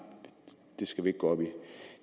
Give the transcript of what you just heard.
det skal vi ikke gå op i